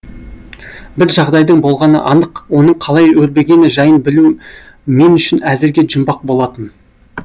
бір жағдайдың болғаны анық оның қалай өрбігені жайын білу мен үшін әзірге жұмбақ болатын